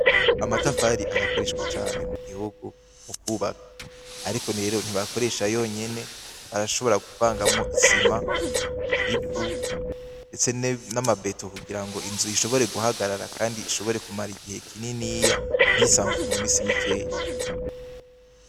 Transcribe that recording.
Amatafari arakoreshwa cane mu gihugu mu kwubaka. Ariko rero ntibakoresha yonyene, barashobora kuvangamwo isima, ivu ndetse n'amabeto kugira ngo inzu ishobore guhagarara kandi ishobore kumara igihe kininiya, ntisambuke mu misi mikeya.